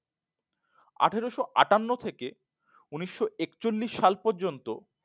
আঠেরশো আটান্ন থেকে উন্নিশো এক চল্লিস সাল পর্যন্ত